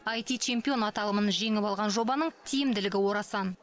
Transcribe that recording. аити чемпион аталымын жеңіп алған жобаның тиімділігі орасан